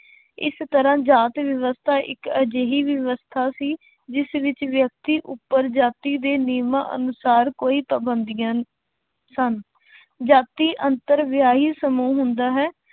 ਇਸ ਤਰ੍ਹਾਂ ਜਾਤ ਵਿਵਸਥਾ ਇੱਕ ਅਜਿਹੀ ਵਿਵਸਥਾ ਸੀ, ਜਿਸ ਵਿੱਚ ਵਿਅਕਤੀ ਉੱਪਰ ਜਾਤੀ ਦੇ ਨਿਯਮਾਂ ਅਨੁਸਾਰ ਕੋਈ ਪਾਬੰਦੀਆਂ ਸਨ ਜਾਤੀ ਅੰਤਰ ਵਿਆਹੀ ਸਮੂਹ ਹੁੰਦਾ ਹੈ